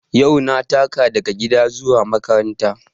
Yau na taka daga gida zuwa makaranta